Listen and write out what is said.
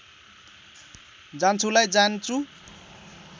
जान्छुलाई जान्चु